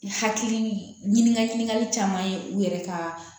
Hakili ɲini ka ɲininkali caman ye u yɛrɛ ka